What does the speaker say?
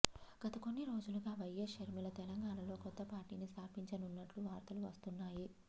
గత కొన్ని రోజులుగా వైఎస్ షర్మిల తెలంగాణలో కొత్త పార్టీని స్థాపించనున్నట్టు వార్తలు వస్తున్నాయి